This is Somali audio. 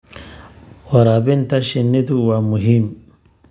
Waraabinta shinnidu waa muhiim.